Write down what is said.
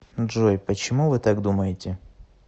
джой почему вы так думаете